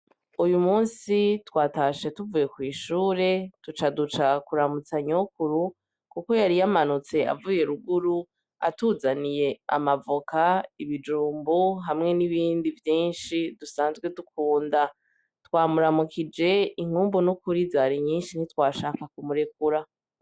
Uyu musi twatashe tuvuye kw'ishure tuca duca kuramutsa nyokuru kuko yari yamanutse avuye ruguru, atuzaniye amavoka, ibijumbu hamwe n'ibindi vyinshi dusanzwe dukunda. Twamuramukije, inkumbu nukuri zari nyinshi ntitwashaka kumurekura.